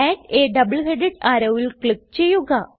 add a double headed arrowൽ click ചെയ്യുക